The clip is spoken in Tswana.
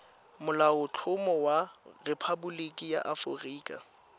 molaotlhomo wa rephaboliki ya aforika